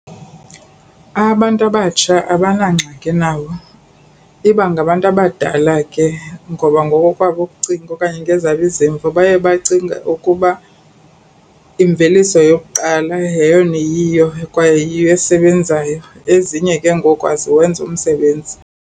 Abantu abatsha abanangxaki nawo. Iba ngabantu abadala ke ngoba ngokokwabo ukucinga okanye ngezabo izimvo baye bacinge ukuba imveliso yokuqala yeyona iyiyo kwaye yiyo esebenzayo, ezinye ke ngoku aziwenzi umsebenzi.